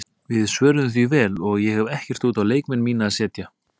Við svöruðum því vel og ég hef ekkert út á leikmenn mína að setja.